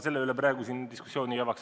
Selle üle ma praegu siin diskussiooni ei avaks.